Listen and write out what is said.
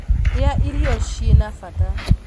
Rĩa irio cina bata